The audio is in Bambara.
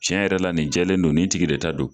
Cɛn yɛrɛ la nin jɛlen don ni tigi de ta don